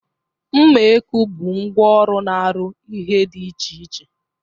Mma ekwu bụ ngwa ọrụ na-arụ ihe dị iche iche.